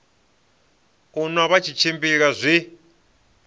u nwa vha tshimbila zwi